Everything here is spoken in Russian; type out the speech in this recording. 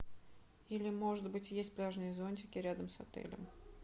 или может быть есть пляжные зонтики рядом с отелем